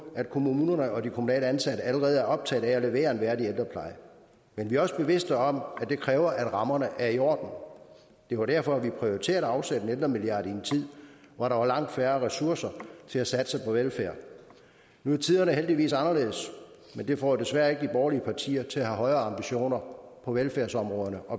at kommunerne og de kommunalt ansatte allerede er optaget af at levere en værdig ældrepleje men vi er også bevidste om at det kræver at rammerne er i orden det var derfor vi prioriterede at afsætte en ældremilliard i en tid hvor der var langt færre ressourcer til at satse på velfærd nu er tiderne heldigvis anderledes men det får desværre ikke de borgerlige partier til at have højere ambitioner på velfærdsområdet